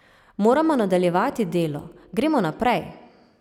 Moramo nadaljevati delo, gremo naprej.